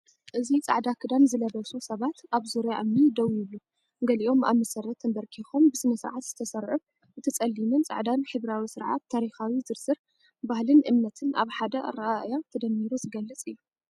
እዚ ጻዕዳ ክዳን ዝለበሱ ሰባት ኣብ ዙርያ እምኒ ደው ይብሉ፡ ገሊኦም ኣብ መሰረት ተንበርኪኾም፡ ብስነ-ስርዓት ዝተሰርዑ። እቲ ጸሊምን ጻዕዳን ሕብራዊ ስርዓት፡ ታሪኻዊ ዝርዝር፡ ባህልን እምነትን ኣብ ሓደ ኣረኣእያ ተደሚሩ ዝገልጽ'ዩ።